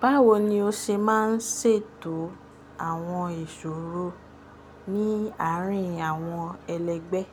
Báwo ni o ṣe máa ń ṣètò àwọn ìṣòro ní àárín àwọn ẹlẹgbẹ́?